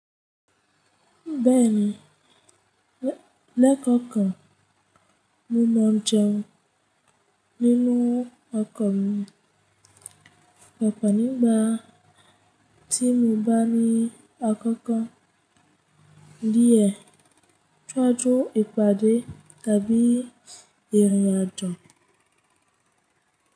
Bẹ́ẹ̀ni, lẹ́kọ̀ọ̀kan mo mọ̀ jẹun nínú ọkọ̀ mi ọ̀pọ̀ nígbà tí mo bá ní àkókò díẹ̀ ṣiwáju ìpàdé tàbí ìrìn àjò.